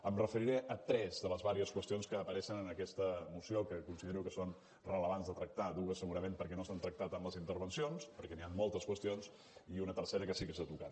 em referiré a tres de les diverses qüestions que apareixen en aquesta moció que considero que són rellevants de tractar dues segurament perquè no s’han tractat en les intervencions perquè hi ha moltes qüestions i una tercera que sí que s’ha tocat